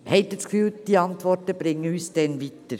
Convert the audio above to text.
Denken Sie, diese Antworten bringen uns dann weiter?